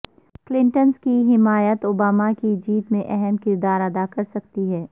Clintons کی حمایت Obama کی جیت میں اہم کردار ادا کرسکتی ہے